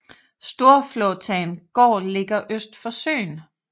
Storflåtan gård ligger øst for søen